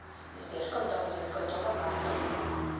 сбер когда будет готова карто